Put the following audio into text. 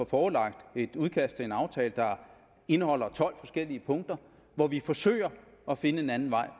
forelagt et udkast til en aftale der indeholder tolv forskellige punkter hvor vi forsøger at finde en anden vej